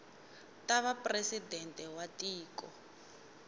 ta va presidente wa tiko